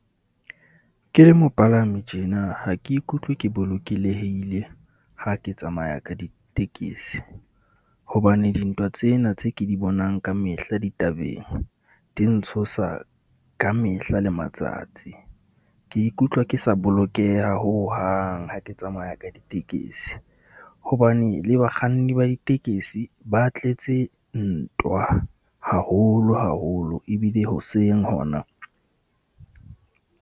Ke le mopalami tjena ha ke ikutlwe ke bolokelehile ha ke tsamaya ka ditekesi, hobane dintwa tsena tse ke di bonang ka mehla ditabeng, di ntshosa ka mehla le matsatsi. ke ikutlwa ke sa bolokeha hohang ha ke tsamaya ka ditekesi hobane le bakganni ba ditekesi ba tletse ntwa haholo haholo ebile hoseng hona.